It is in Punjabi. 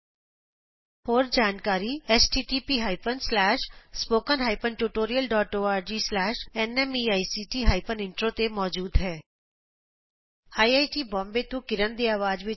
ਇਸ ਮਿਸ਼ਨ ਦੀ ਹੋਰ ਜਾਣਕਾਰੀ ਇਸ ਲਿੰਕ ਤੇ ਉਪਲੱਭਦ ਹੈ httpspoken tutorialorgNMEICT Intro ਇਸ ਸਕਰਿਪਟ ਦਾ ਅਨੁਵਾਦ ਮਹਿੰਦਰ ਰਿਸ਼ਮ ਨੇ ਕੀਤਾ ਹੈ